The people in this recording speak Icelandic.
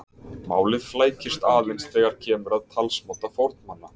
Málið flækist aðeins þegar kemur að talsmáta fornmanna.